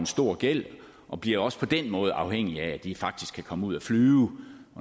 stor gæld og bliver også på den måde afhængige af at de faktisk kan komme ud at flyve